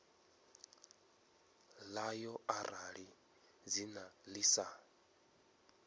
ḽayo arali dzina ḽi sa